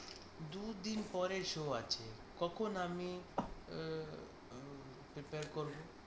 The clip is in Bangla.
দুদিন পরে show আছে। কখন আমি prepare করব